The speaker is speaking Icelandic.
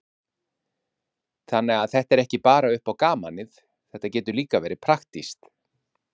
Hafsteinn: Þannig að þetta er ekki bara upp á gamanið, þetta getur líka verið praktískt?